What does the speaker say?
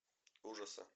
ужасы